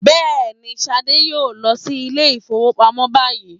Yes, Shade will go to the bank now